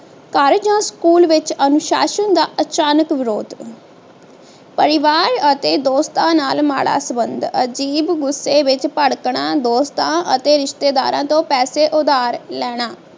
ਘਰ ਜਾਂ ਸਕੂਲ ਵਿਚ ਅਨੁਸ਼ਾਸ਼ਨ ਦਾ ਅਚਾਨਕ ਵਿਰੋਧ ਪਰਿਵਾਰ ਅਤੇ ਦੋਸਤਾਂ ਨਾਲ ਮਾੜਾ ਸੰਬੰਧ ਅਜ਼ੀਬ ਗੁੱਸੇ ਵਿਚ ਭੜਕਣਾ ਦੋਸਤਾਂ ਅਤੇ ਰਿਸ਼ਤੇਦਾਰਾਂ ਤੋਂ ਪੈਸੇ ਉਧਾਰ ਲੈਣਾ